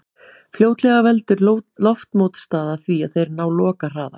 Fljótlega veldur loftmótstaða því að þeir ná lokahraða.